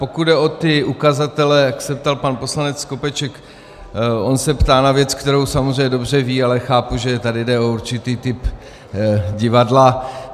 Pokud jde o ty ukazatele, jak se ptal pan poslanec Skopeček, on se ptá na věc, kterou samozřejmě dobře ví, ale chápu, že tady jde o určitý typ divadla.